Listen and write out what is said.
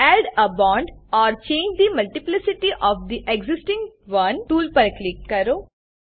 add a bond or change the multiplicity of the existing one tool પર click કરો